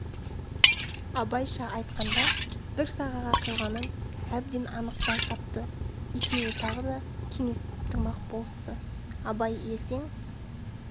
абайша айтқанда бір сағаға құйғанын әбден анық байқатты екеуі тағы да кеңесіп тұрмақ болысты абай ертең